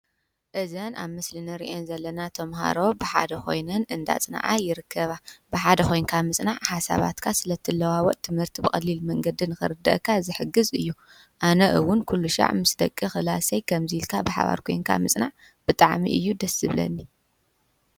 እዘን ኣብ ምስልኒርአን ዘለና ተምሃሮ ብሓደ ኾይንን እንዳጽንዓ ይርከባ ብሓደ ኾይንካ ምጽናዕ ሓሳባትካ ስለ እትለዋወጥ ትምህርቲ ብቐሊል መንገድን ክርድአካ ዝሕግዝ እዩ ኣነእውን ኲሉሻዕ ምስ ደቂ ኽላሰይ ከምዚ ልካ ብሓባር ኴንካ ምጽናዕ ብጣዕሚ እዩ ደስብለኒ